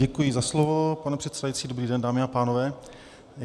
Děkuji za slovo, pane předsedající, dobrý den, dámy a pánové.